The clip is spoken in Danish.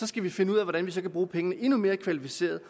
skal vi finde ud af hvordan vi så kan bruge pengene endnu mere kvalificeret